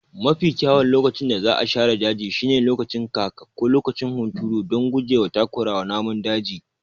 Mafi kyawun lokacin da za a share daji shine lokacin kaka ko lokacin hunturu don guje wa takurawa namun daji.